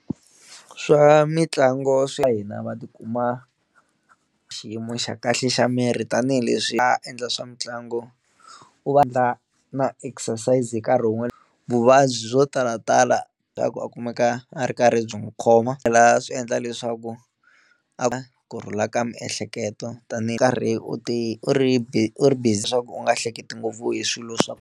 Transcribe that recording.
Swa mitlangu swa hina va tikuma xiyimo xa kahle xa miri tanihileswi va endla swa mitlangu u va na exercise nkarhi wun'we, vuvabyi byo ku talatala swa ku a kumeka a ri karhi byi n'wi khoma swi tlhela swi endla leswaku a kurhula ka miehleketo tanihi karhi u ti u ri busy u ri busy leswaku u nga hleketi ngopfu hi swilo swa.